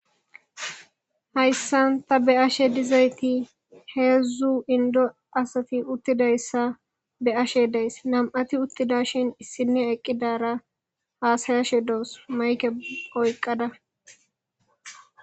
Hayssan ta be'ashe diza heezzu indo asati uttida issa be'ashe deys. Nam'ati uttida shin issinne eqqidara haasayashe doos .mayikke oyqqada